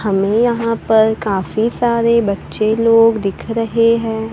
हमें यहां पर काफी सारे बच्चे लोग दिख रहे हैं।